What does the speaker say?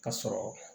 Ka sɔrɔ